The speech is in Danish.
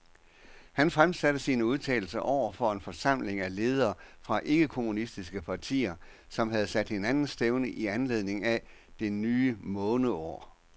Han fremsatte sine udtalelser over for en forsamling af ledere fra ikke-kommunistiske partier, som havde sat hinanden stævne i anledning af det nye måneår.